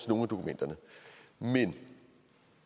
nogle af dokumenterne men